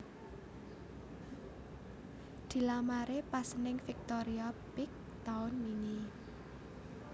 Dilamare pas ning Victoria Peek taun wingi